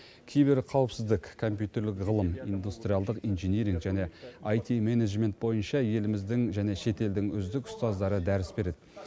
киберқауіпсіздік компьютерлік ғылым индустриялдық инжиниринг және айти менеджмент бойынша еліміздің және шетелдің үздік ұстаздары дәріс береді